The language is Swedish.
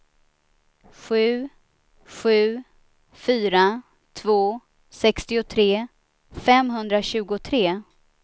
sju sju fyra två sextiotre femhundratjugotre